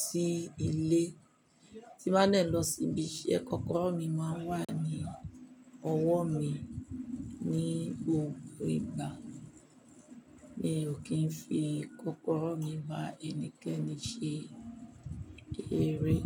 sí ilé, tí bá nẹ̀ lọ síbi iṣẹ́, kọ́kọ́rọ́ mi máa ń wà ní ọwọ́ mi ní gbogbo ìgbà. Mi ò kí ń fi kọ́kọ́rọ́ mi bá ẹnikẹ́ni ṣe eré.